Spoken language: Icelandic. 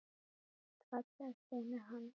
Þú ert falleg, stynur hann.